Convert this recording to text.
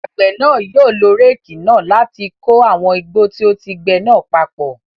Àgbẹ̀ náà yóò lo réékì náà láti kó àwọn igbó tí ó ti gbe náà papọ̀.